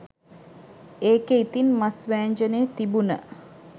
ඒකේ ඉතිං මස් වෑංජනේ තිබුන